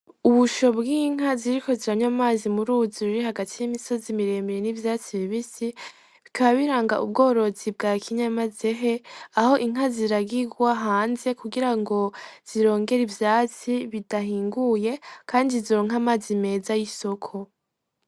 Ubusho bw'inka ziriko ziranywa amazi muruzi ruri hagati y'imisozi miremire n'ivyatsi bibisi; bikaba biranga ubworozi bwakinyamazehe aho Inka ziragigwa hanze kugirango zirongere ivyatsi bidahinguye kandi zironke amazi meza yisoko.